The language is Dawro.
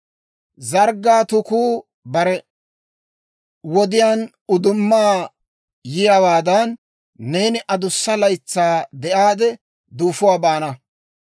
Zarggaa tukuu bare wodiyaan uddumaa yiyaawaadan, neeni adussa laytsaa de'aade, duufuwaa baana.